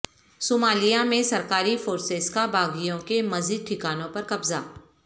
Somalia میں سرکاری forces کا باغیوں کے مزید ٹھکانوں پر قبضہ